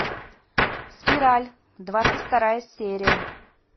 спираль двадцать вторая серия